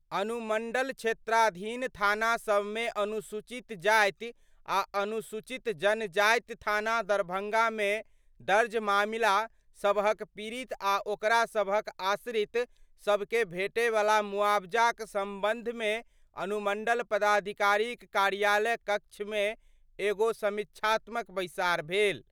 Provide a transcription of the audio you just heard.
अनुमंडल क्षेत्राधीन थाना सभमे अनुसूचित जाति आ अनुसूचित जनजाति थाना दरभंगामे दर्ज मामिला सबहक पीड़ित आ ओकरा सबहक आश्रित सभ के भेटयवला मुआवजाक संबंधमे अनुमंडल पदाधिकारीक कार्यालय कक्षमे एगो समीक्षात्मक बैसार भेल।